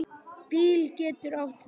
BÍL getur átt við